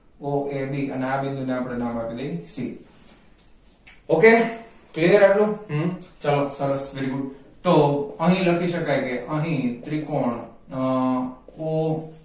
o a b અને આ બિંદુ ને આપણે નામ આપી દઈ c શકે okay clear અટલું હમ ચાલો સરસ very good તો અહીં લખી શકાય કે અહીં ત્રિકોણ અ o